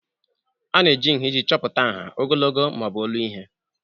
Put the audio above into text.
A na-eji nha iji chọpụta nha, ogologo ma ọ bụ olu ihe.